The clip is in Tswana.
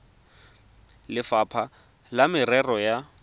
le lefapha la merero ya